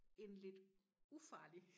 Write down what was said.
En lidt ufarlig